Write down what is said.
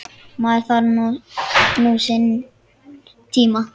Maður þarf nú sinn tíma.